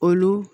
Olu